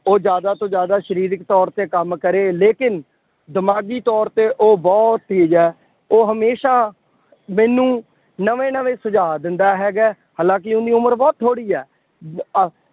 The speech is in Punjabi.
ਉਹ ਜ਼ਿਆਦਾ ਤੋਂ ਜ਼ਿਆਦਾ ਸਰੀਰਕ ਤੌਰ ਤੇ ਕੰਮ ਕਰੇ। ਲੇਕਿਨ ਦਿਮਾਗੀ ਤੌਰ ਤੇ ਉਹ ਬਹੁਤ ਤੇਜ਼ ਹੈ। ਉਹ ਹਮੇਸ਼ਾ ਮੈਨੂੰ ਨਵੇਂ ਨਵੇਂ ਸੁਝਾਅ ਦਿੰਦਾ ਹੈਗਾ। ਹਾਲਾਂਕਿ ਉਹਦੀ ਉਮਰ ਬਹੁਤ ਥੋੜ੍ਹੀ ਹੈ।